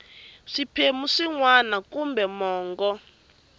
swiphemu swin wana kambe mongo